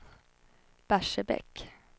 Barsebäck